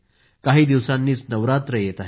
काही दिवसांनीच नवरात्र येत आहे